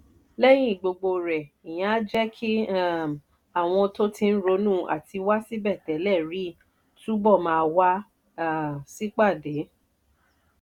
lẹ́yìn gbogbo rẹ̀ ìyẹn á jẹ́ kí um àwọn tó ti ń ronú àtiwá síbẹ̀ tẹ́lẹ̀ rí túbọ̀ máa wá um sípàdé.